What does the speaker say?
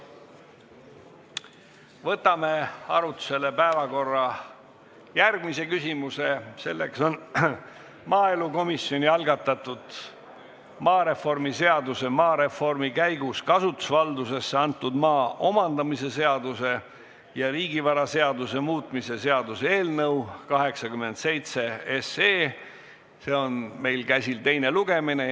Võtame arutlusele järgmise päevakorrapunkti: see on maaelukomisjoni algatatud maareformi seaduse, maareformi käigus kasutusvaldusesse antud maa omandamise seaduse ja riigivaraseaduse muutmise seaduse eelnõu 87 teine lugemine.